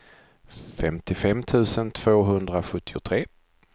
femtiofem tusen tvåhundrasjuttiotre